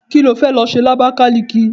Kí ló fẹ́ lọ ṣe ní Abakaliki?